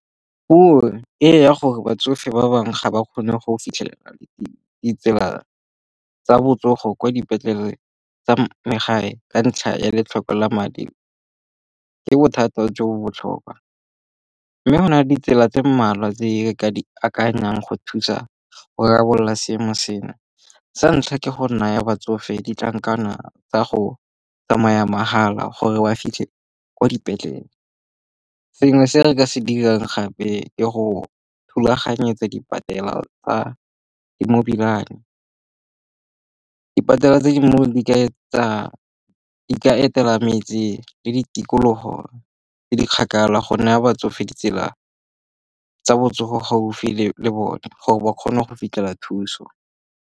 e ya gore batsofe ba bangwe ga ba kgone go fitlhelela ditsela tsa botsogo kwa dipetlele tsa megae ka ntlha ya letlhoko la madi ke bothata jo bo botlhokwa. Mme go na le ditsela tse mmalwa tse re ka di akanyang go thusa go rarabolola seemo seno. Sa ntlha ke go naya batsofe ditlankana tsa go tsamaya mahala gore ba fitlhe kwa dipetlele. Sengwe se re ka se dirang gape ke go thulaganyetsa dipatela tsa di-Mobi Money. Dipatela tse di mo di ka eteka metse le ditikologo tse di kgakala go naya batsofe ditsela tsa botsogo gaufi le bone gore ba kgone go fitlhela thuso.